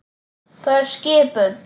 Það er skipun!